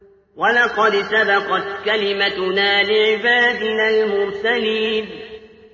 وَلَقَدْ سَبَقَتْ كَلِمَتُنَا لِعِبَادِنَا الْمُرْسَلِينَ